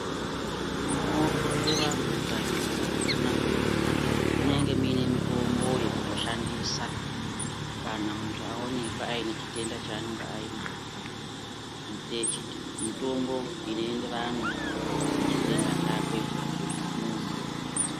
Muno hloyiwa antu kazhinji kakona munenge muine mutombo yekuzo shandisa kana muntu aonekwa aine chitenda chaanonga ainacho mutombo ino enderana ne chitenda chakwe muntu.